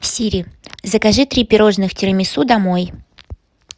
сири закажи три пирожных тирамису домой